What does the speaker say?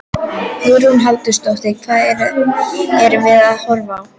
Hugrún Halldórsdóttir: Hvað erum við að horfa á?